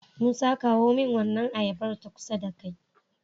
musa kawo min wannan ayabar ta kusa da kai